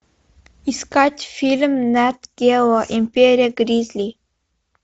искать фильм нат гео империя гризли